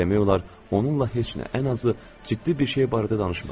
Demək olar, onunla heç nə, ən azı, ciddi bir şey barədə danışmırdı.